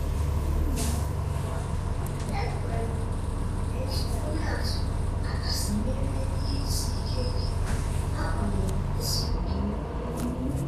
ekwerem etu onye atụ aka sị merie ihe isi ike ike n'agbanyeghị ezughị okè.